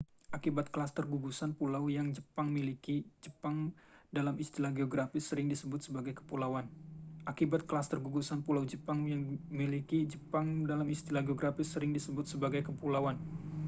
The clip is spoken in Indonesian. "akibat klaster/gugusan pulau yang jepang miliki jepang dalam istilah geografis sering disebut sebagai kepulauan